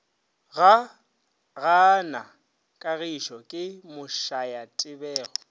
gaa na kagišo ke mošayatebogo